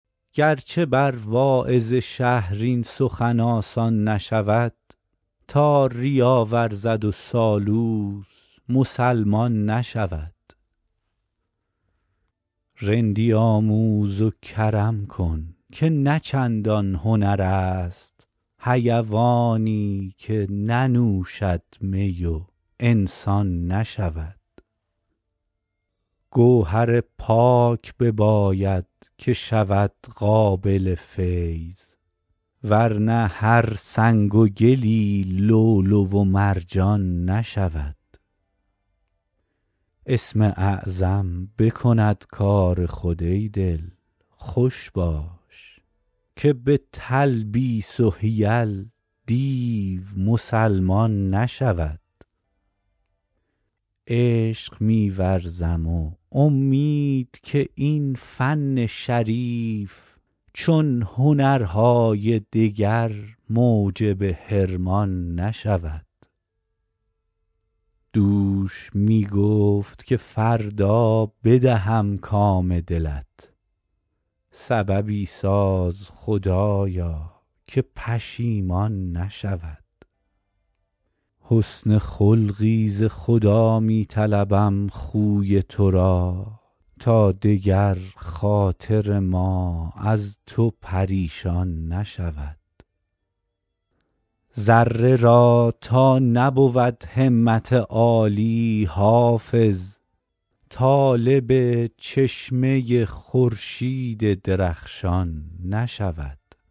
گر چه بر واعظ شهر این سخن آسان نشود تا ریا ورزد و سالوس مسلمان نشود رندی آموز و کرم کن که نه چندان هنر است حیوانی که ننوشد می و انسان نشود گوهر پاک بباید که شود قابل فیض ور نه هر سنگ و گلی لؤلؤ و مرجان نشود اسم اعظم بکند کار خود ای دل خوش باش که به تلبیس و حیل دیو مسلمان نشود عشق می ورزم و امید که این فن شریف چون هنرهای دگر موجب حرمان نشود دوش می گفت که فردا بدهم کام دلت سببی ساز خدایا که پشیمان نشود حسن خلقی ز خدا می طلبم خوی تو را تا دگر خاطر ما از تو پریشان نشود ذره را تا نبود همت عالی حافظ طالب چشمه خورشید درخشان نشود